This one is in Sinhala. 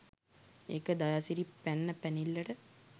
ඒක දයාසිරි පැන්න පැනිල්ලට